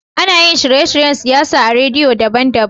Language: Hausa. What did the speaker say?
Anayin shirye shiryen siyawa a radio daban daban